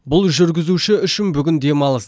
бұл жүргізуші үшін бүгін демалыс